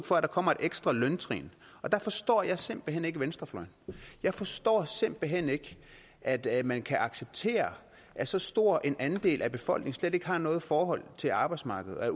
for at der kommer et ekstra løntrin og der forstår jeg simpelt hen ikke venstrefløjen jeg forstår simpelt hen ikke at at man kan acceptere at så stor en andel af befolkningen slet ikke har noget forhold til arbejdsmarkedet